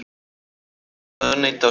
Starfsmenn ráðuneyta á skólabekk